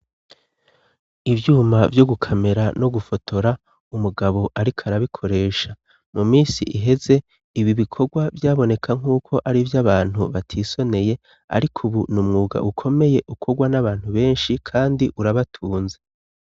Ivyuma vyo gukamera no gufotora umugabo, ariko arabikoresha mu misi iheze ibi bikorwa vyaboneka nk'uko ari vyo abantu batisoneye, ariko, ubu ni umwuga ukomeye ukorwa n'abantu benshi, kandi urabatunze.